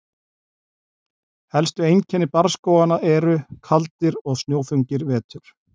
Helstu einkenni barrskóganna eru: Kaldir og snjóþungir vetur.